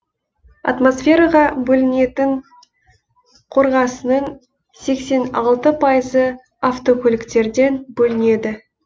атмосфераға бөлінетін қорғасыннын сексен алты пайызы автокөліктерден бөлінеді